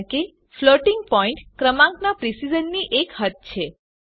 કારણ કે floating point ક્રમાંકનાં પ્રીસિઝનની એક હદ છે